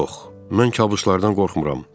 Yox, mən kabuslardan qorxmuram.